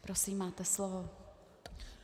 Prosím, máte slovo.